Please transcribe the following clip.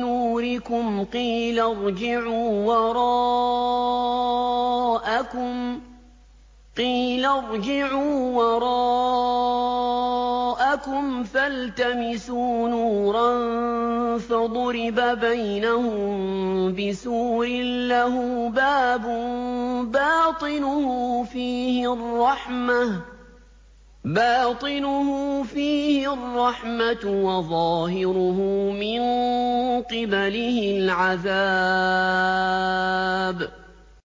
نُّورِكُمْ قِيلَ ارْجِعُوا وَرَاءَكُمْ فَالْتَمِسُوا نُورًا فَضُرِبَ بَيْنَهُم بِسُورٍ لَّهُ بَابٌ بَاطِنُهُ فِيهِ الرَّحْمَةُ وَظَاهِرُهُ مِن قِبَلِهِ الْعَذَابُ